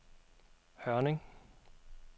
Hørning